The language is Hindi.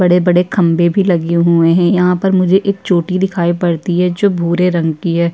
बड़े-बड़े खंबे भी लगे हुए हैं। यहाँ पर मुझे एक चोटी दिखाई पड़ती है जो भूरे रंग की है।